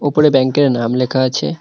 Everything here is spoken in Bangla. উপরে ব্যাংকের নাম লেখা আছে।